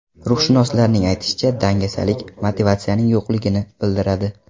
Ruhshunoslarning aytishicha, dangasalik motivatsiyaning yo‘qligini bildiradi.